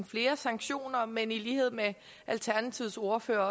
flere sanktioner men i lighed med alternativets ordfører